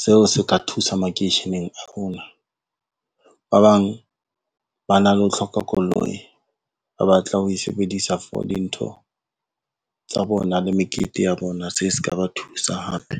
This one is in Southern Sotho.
Seo se ka thusa makeisheneng a rona, ba bang ba na le ho hloka koloi, ba batla ho e sebedisa for dintho tsa bona le mekete ya bona, se se ka ba thusa hape.